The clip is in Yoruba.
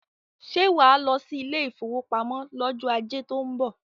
Ṣé wàá lọ sí ilé ìfowópamọ́ lọ́jọ́ ajé tó ń .bọ̀?